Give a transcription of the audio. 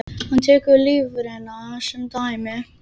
Hann tekur lifrina sem dæmi.